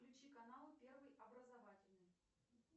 включи канал первый образовательный